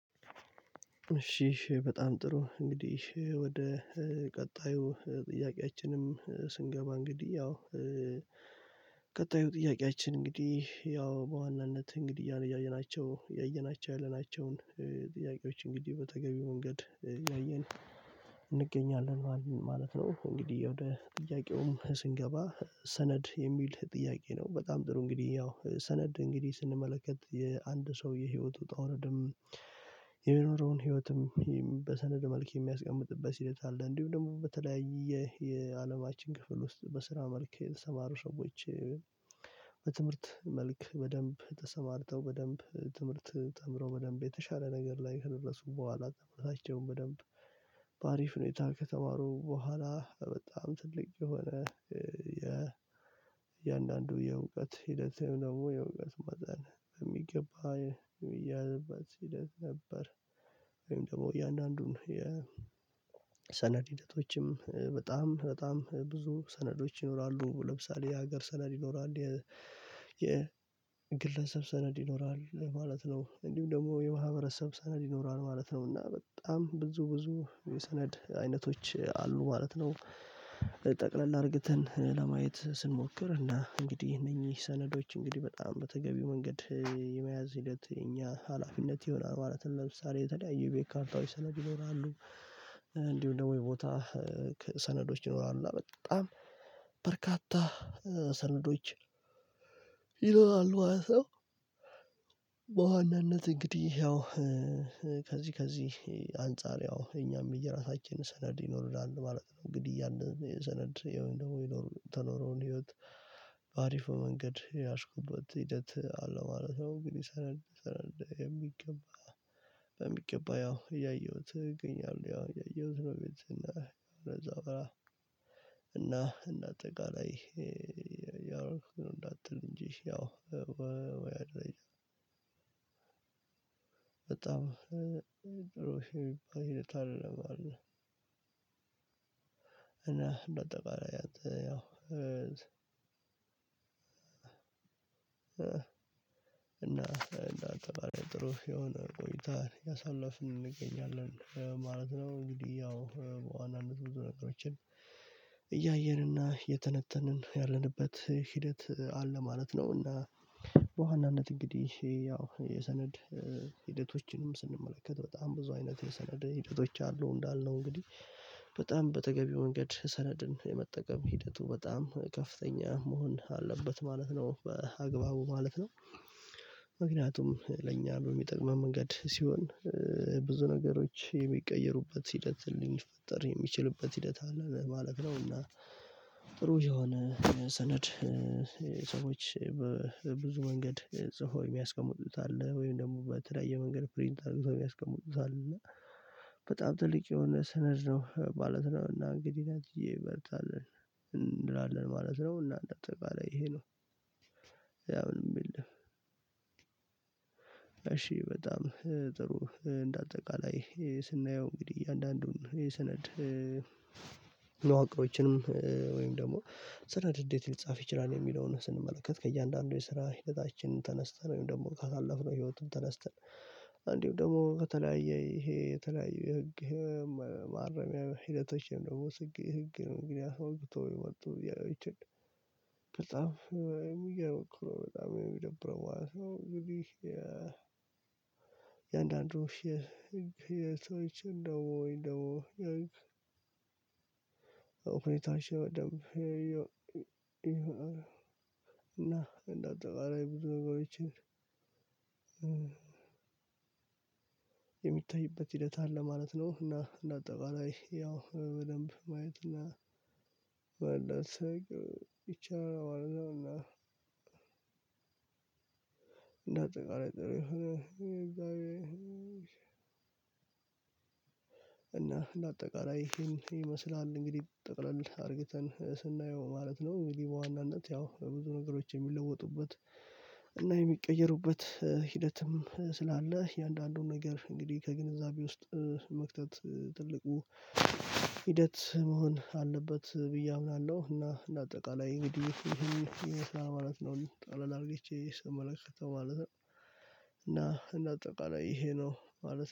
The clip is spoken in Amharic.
እሺ በጣም ጥሩ እንግዲህ ወደ ቀጣዩ ጥያቄያችንም ስንገባ እንግዲህ ያው ቀጣዩ ጥያቄያችን እንግዲህ ያው በዋናነት እንግዲህ እያየናቸው ያየናቸው ያለናቸውን ጥያቄዎች እንግዲህ በተገቢ ወንገድ አያየን እንገኛለን ማለት ነው። እንግዲህ ወደ ጥያቄውም ስንገባ ሰነድ የሚል ጥያቄ ነው በጣም ጥሩ እንግዲህ ያው ሰነድ እንግዲህ ስንመለከት የአንድ ሰው የህይወቱ ዉጣ ውረድም የሚኖረውን ህይወትም በሰነድ መልክ የሚያስቀምጥበት ሂደት አለ እንዲሁም ደግሞ በተለያየ የአለማችን ክፍል ውስጥ በስራ መልክ የተሰማሩ ሰዎች በትምህርት መልክ በደንብ ተሰማርተው በደንብ ትምህርት ተምረው በደንብ የተሻለ ነገር ላይ ከደረሱ ቦኋላ በደንብ በአሪፍ ሁኔታ ከተማሩ ቦኋላ በጣም ትልቅ የሆነ የ እያንዳንዱ የእውቀት ሂደት ወይም ደግሞ የእውቀት ማዛን በሚገባ እያለበት ሂደት ነበር ወይም ደግሞ እያንዳንዱን የሰነድ ሂደቶችም በጣም በጣም ብዙ ሰነዶች ይኖራሉ። ለምሳሌ የሀገር ሰነድ ይኖራል የ የግለሰብ ሰነድ ይኖራል ማለት ነው እንዲሁም ደግሞ የማህብረሰብ ሰነድ ይኖራል ማለት ነው። እና በጣም ብዙ ብዙ የሰነድ አይነቶች አሉ ማለት ነው። ጠቅለል አርግተን ለማየት ስንሞክር እና እንግዲህ እነኚህ ሰነዶች እንግዲህ በጣም በተገቢው መንገድ የመያዝ ሂደት እኛ ሀላፊነት ይሆናል ማለትም ለምሳሌ የተለያዩ በርካታ ካርታዎች ሰነድ ይኖራሉ እንዲሁ ደግሞ የቦታ ሰነዶች ይኖራሉ እና በጣም በርካታ ሰነዶች ይለዋል ማለት ነው በዋናነት እንግዲህ ያው ከዚህ ከዚህ አንፃር ያው እኛም የራሳችንን ሰነድ ይኖርላል ማለት ነው። እንግዲህ ያንን የሰነድ ይሄን ደግሞ የተኖረውን ህይወት በአሪፉ መንገድ የያዝኩበት ሂደት አለ ማለት ነው። አንግድህ ሰነድ የሚገባ በሚገባ ያው እያየሁት እገኛለሁ ያው እያየሁት ነው ቤት እና እና እና እንዳጠቃላይ ያወርኩት ነው እንዳትል እንጂ ያው በጣም ድሮ የሚባል ሂደት አይደለም አለ እና በጠባራው ያው እና እናት ጥሩ የሆነ ቆይታን ያሳለፍን እንገኛለን ማለት ነው። እንግዲህ ያው በዋናነት ብዙ ነገሮችን እያየንና የተነተንን ያለንበት ሂደት አለ ማለት ነው እና በዋናነት እንግዲህ ያው የሰነድ ሂደቶችንም ስንመለከት በጣም ብዙ አይነት የሰነድ ሂደቶች አሉ እንዳልነው እንግዲህ በጣም በተገቢው መንገድ ሰነድን የመጠቀም ሂደቱ በጣም ከፍተኛ መሆን አለበት ማለት ነው። በአግባቡ ማለት ነው ምክንያቱም ለእኛ በሚጠቅመው መንገድ ሲሆን ብዙ ነገሮች የሚቀየሩበት ሂደት ሊፈጠር የሚችልበት ሂደት አለ ለማለት ነው እና ጥሩ የሆነ ሰነድ ሰዎች በብዙ መንገድ ጽፎ የሚያስቀምጡት አለ ወይም ደግሞ በተለያየ መንገድ ፕሪንት አርግተው የሚያስቀምጡታል እና በጣም ጥልቅ የሆነ ስነድ ነው ማለት ነው እና እንግዲህ አትዬ እበልጣለሁ እንላለን ማለት ነው እና አጠቃላይ ይሄ ነው። ያው የሚል እሺ በጣም ጥሩ እንደ አጠቃላይ ስናየው እንግዲህ እያንዳንዱን የሰነድ መዋቅሮችንም ወይም ደግሞ ስራ ድርድር ሊጻፍ ይችላል የሚለውን ስንመለከት ከእያንዳንዱ የስራ ህደታችን ተነስተን ወይም ደግሞ ካሳለፍነው ህይወቱን ተነስተን እንዲሁ ደግሞ ከተለያየ ይሄ የተለያየ የህግ ማረሚያ ህደቶችን ደግሞ ስግዬ ህግ ነው። ምክንያቱም አስወግቶ ወጥቶ እያለው ይችላል በጣም የሚገርም እኮ ነው በጣም የሚደብረው ሰው እንግዲህ የእያንዳንዱ ህግ እንደው እኮ ሁኔታዎች እንደው እና እንደ አጠቃላይ ብዙ መግባቢዎችን የሚታይበት ሂደት አለ ማለት ነው እና እንደ አጠቃላይ ያው በደንብ ማየት እና ባልደረቀ ይቻላል ማለት ነው እና እንደ አጠቃላይ ጥሩ የሆነ እና እንደ አጠቃላይ ይሄን ይመስላል እንግዲህ ጠቅለል አድርጌተን ስናየው ማለት ነው። አንግድህ በዋናነት ያው በብዙ ነገሮች የሚለወጡበት እና የሚቀየሩበት ሂደትም ስላለ የአንዳንዱን ነገር እንግዲህ ከግንዛቤ ውስጥ መክተት ትልቁ ሂደት መሆን አለበት ብዬ አምናለሁ እና እንደ አጠቃላይ እንግዲህ ይሄን ማለት ነው ጠቅለል አርግቼ ስመለከተው ማለት ነው። እና እንደ አጠቃላይ ይሄ ነው ማለት